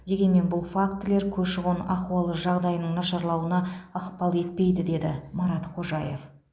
дегенмен бұл фактілер көші қон ахуалы жағдайының нашарлауына ықпал етпейді деді марат қожаев